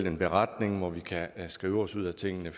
en beretning hvor vi kan skrive os ud af tingene